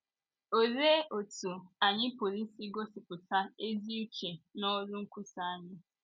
Olee otú anyị pụrụ isi gosipụta ezi uche n’ọrụ nkwusa anyị?